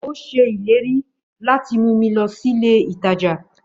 Ó ṣèlérí láti mú mi lọ sílé ìtajà